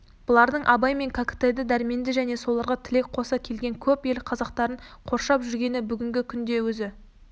бұлардың абай мен кәкітайды дәрменді және соларға тілек қоса келген көп ел қазақтарын қоршап жүргені бүгінгі күнде өзі